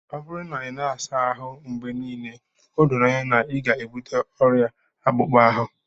ọ bụrụ na ị naghị asa ahụ mgbe niile, o doro anya na ị ga-ebute ọrịa akpụkpọ ahụ